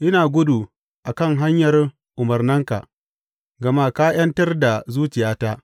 Ina gudu a kan hanyar umarnanka, gama ka ’yantar da zuciyata.